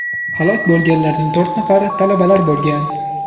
Halok bo‘lganlarning to‘rt nafari talabalar bo‘lgan.